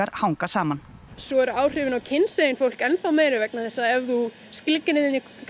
hanga saman svo eru áhrifin á fólk enn meiri vegna þess að ef þú skilgreinir